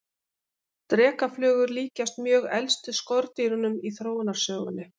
Drekaflugur líkjast mjög elstu skordýrunum í þróunarsögunni.